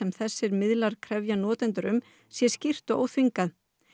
þessir miðlar krefji notendur um sé skýrt og óþvingað